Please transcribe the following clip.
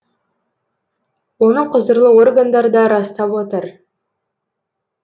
оны құзырлы органдар да растап отыр